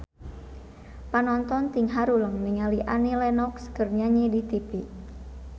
Panonton ting haruleng ningali Annie Lenox keur nyanyi di tipi